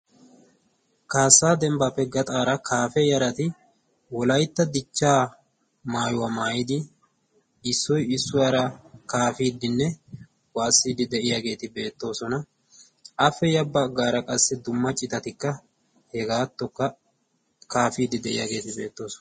kaassaa dembbaappe gaxaara kaafe yarati wolaytta dichchaa maayuwaa maayidi issoi issuwaara kaafiiddinne waassiiddi de'iyaageeti beettoosona afe ya baggaara qassi dumma citatikka hegaattokka kaafiiddi de'iyaageeti beettoosona